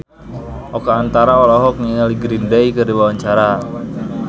Oka Antara olohok ningali Green Day keur diwawancara